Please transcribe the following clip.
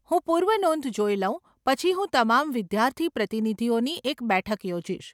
હું પૂર્વનોંધ જોઈ લઉં પછી હું તમામ વિદ્યાર્થી પ્રતિનિધિઓની એક બેઠક યોજીશ.